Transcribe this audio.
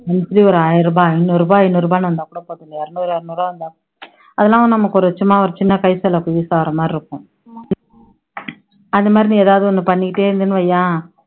எப்படியும் ஆயிரம் ரூபா, ஐநூறு ரூபா ஐநூறு ரூபான்னு வந்தா கூட போதும் இருநூறு இருநூறு ரூபா வந்தா கூட, அதெல்லாம் நமக்கு ஒரு சும்மா ஒரு சின்ன கைசெலவுக்கு use ஆகுற மாதிரி இருக்கும் அது மாதிரி நீ ஏதாவது ஓண்ணு பண்ணிட்டே இருந்தன்னு வைய்யேன்